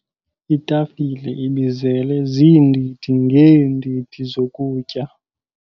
Itafile ibizele ziindidi ngeendidi zokutya.